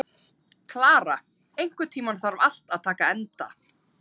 Klara, einhvern tímann þarf allt að taka enda.